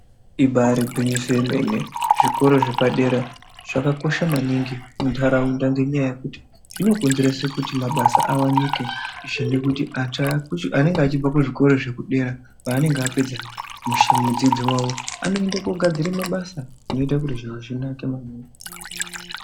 Ibari gwinyiso remene zvikora zvepadera zvakakosha maningi muntaraunda. Ngenyaya yekuti zvinokonzeresa kuti mabasa awanike zvine kuti anenge achibva kuzvikoro zvekudera paanenge apedza zvidzidzo zvavo anoende kogadzira mabasa zvinoita kuti zviro zvinake maningi.